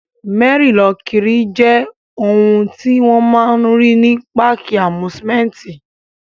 Mẹ́rí-lọ-kiri jẹ́ ohun tí wọ́n máa n rí ní páàkì àmúsúmẹ́úntì